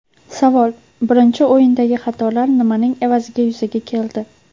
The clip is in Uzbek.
Savol: Birinchi o‘yindagi xatolar nimaning evaziga yuzaga keldi?